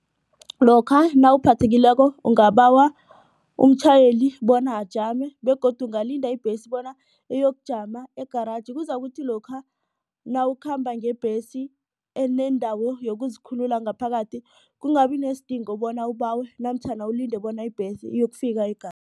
Lokha nawuphathekileko ungabawa umtjhayeli bona ajame begodu kungalinda ibhesi bona iyokujama egaragi kuzakuthi lokha nawukhamba ngebhesi enendawo yokuzikhulula ngaphakathi kungabi nesidingo bona ubawe namtjhana ulinde bona ibhesi iyokufika